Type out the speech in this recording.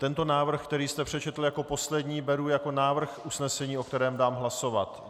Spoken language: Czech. Tento návrh, který jste přečetl jako poslední, beru jako návrh usnesení, o kterém dám hlasovat.